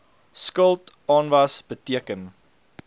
skuld aanwas beteken